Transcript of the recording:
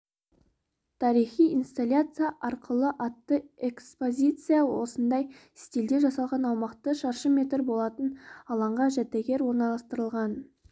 тарихы инсталляция арқылы атты экспозиция осындай стильде жасалған аумағы шаршы метр болатын алаңға жәдігер орналастырылған